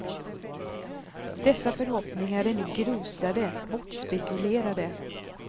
Dessa förhoppningar är nu grusade, bortspekulerade.